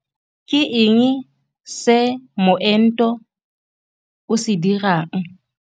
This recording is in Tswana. Ke eng se moento o se dirang?